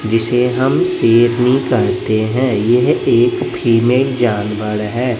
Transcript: जिसे हम शेरनी कहते हैं यह एक फीमेल जानवर है।